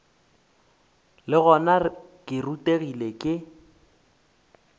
le gona ke rutegile ke